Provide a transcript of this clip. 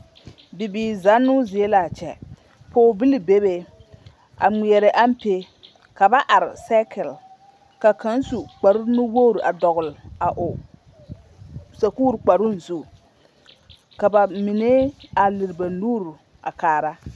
Bibiiri zannoo zie l'a kyɛ, pɔgebili bebe a ŋmeɛrɛ ampe ka ba are sɛɛkili ka kaŋ su kpare nu wogiri a dɔgele a o sakuuri kparoŋ zu ka bamine a lere ba nuuri a kaara.